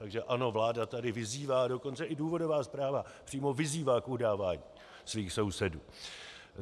Takže ano, vláda tady vyzývá, dokonce i důvodová zpráva přímo vyzývá k udávání svých sousedů.